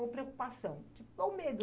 Ou preocupação, ou medo.